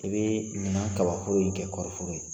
I bɛ ɲina kabaforo in kɛ kɔɔrifɔforo ye